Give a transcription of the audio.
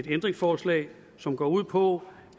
ændringsforslag som går ud på